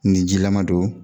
Nin jilaman don